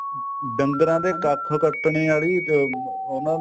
ਡੰਗਰਾਂ ਦੇ ਕੱਖ ਕੱਟਣ ਆਲੀ ਤੇ ਉਹਨਾ